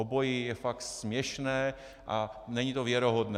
Obojí je fakt směšné a není to věrohodné.